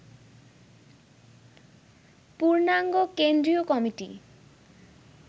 পূর্ণাঙ্গ কেন্দ্রীয় কমিটি